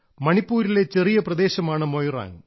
മണിപ്പൂരിലെ ചെറിയ പ്രദേശമാണ് മൊയിറാങ്